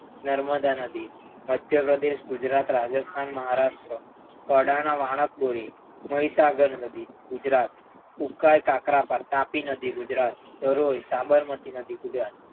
નર્મદા નદી મધ્યપ્રદેશ ગુજરાત રાજસ્થાન મહારાષ્ટ્ર પુરી કડાણા વણાકબોરી મહીસાગર નદી ગુજરાત ઉકાઈ તાપરા નદી પર તાપી નદી ગુજરાત ધરોઈ સાબરમતી ગુજરાત